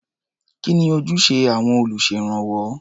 Kí ni ojúṣe àwọn olùṣèrànwọ́?